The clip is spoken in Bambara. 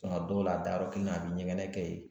Nka a dɔw la a dayɔrɔ kelen, a bɛ ɲɛgɛn kɛ yen.